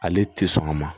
Ale tɛ sɔn a ma